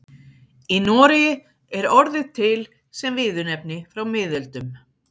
Í Noregi er orðið til sem viðurnefni frá miðöldum.